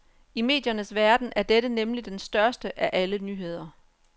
I mediernes verden er dette nemlig den største af alle nyheder.